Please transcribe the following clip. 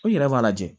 O yɛrɛ b'a lajɛ